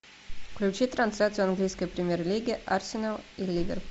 включи трансляцию английской премьер лиги арсенал и ливер